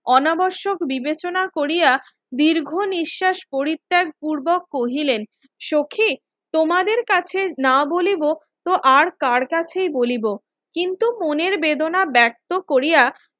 অনাবর্ষক বিবেচনা কোরিয়া দীর্ঘ নিঃশ্বাস পরিত্যাগ পূর্বক কহিলেন সখি তোমাদের কাছে না বলিবো তো আর কার কাছেই বলিব কিন্তু মনের বেদনা ব্যাক্ত কোরিয়া